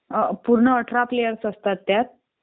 पूर्ण अठरा प्लेयर्स असतात त्यात